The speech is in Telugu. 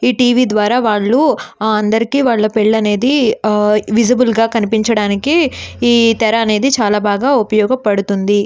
ఈ టీవీ ద్వారా వాళ్ళు అందరికీ ఆ పెళ్లిళ్లు అనేది విజిబుల్ గా కనిపించడానికి ఈ తెర అనేది చాలా బాగా ఉపయోగపడుతుంది.